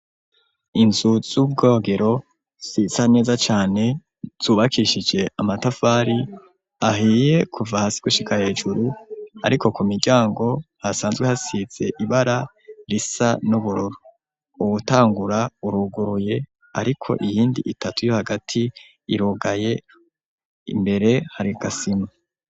Inzu z'ubwogero zisa neza cane zubakishije amatafari ahiye kuva hasi gushika hejuru ariko ku miryango hasanzwe hasize ibara risa n'ubururu uwutangura uruguruye ariko iyindi itatu yo hagati irugaye imbere hari agasima.